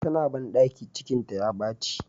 Tana bandaki ,cikinta ya baci.